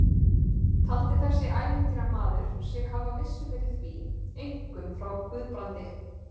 Taldi þessi ævintýramaður sig hafa vissu fyrir því, einkum frá Guðbrandi